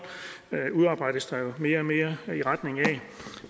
udarbejdes der jo mere og mere i den retning